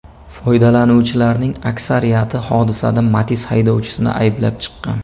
Foydalanuvchilarning aksariyati hodisada Matiz haydovchisini ayblab chiqqan.